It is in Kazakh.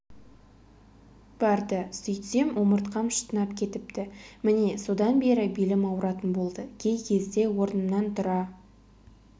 барды сөйтсем омыртқам шытынап кетіпті міне содан бері белім ауыратын болды кей кезде орнымнан тұра